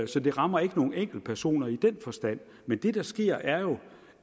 så det rammer ikke nogen enkeltpersoner i den forstand men det der sker er jo